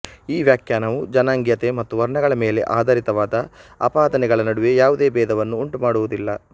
ಈ ವ್ಯಾಖ್ಯಾನವು ಜನಾಂಗೀಯತೆ ಮತ್ತು ವರ್ಣಗಳ ಮೇಲೆ ಆಧಾರಿತವಾದ ಆಪಾದನೆಗಳ ನಡುವೆ ಯಾವುದೇ ಭೇದವನ್ನು ಉಂಟುಮಾಡುವುದಿಲ್ಲ